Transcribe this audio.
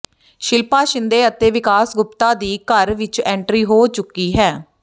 ਸ਼ਿਲਪਾ ਸ਼ਿੰਦੇ ਅਤੇ ਵਿਕਾਸ ਗੁਪਤਾ ਦੀ ਘਰ ਵਿਚ ਐਟਰੀਂ ਹੋ ਚੁੱਕੀ ਹੈ